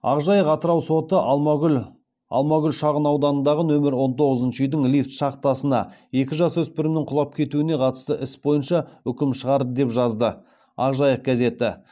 ақ жайық атырау соты алмагүл шағын ауданындағы нөмір он тоғызыншы үйдің лифт шахтасына екі жасөспірімнің құлап кетуіне қатысты іс бойынша үкім шығарды деп жазды ақ жайық газеті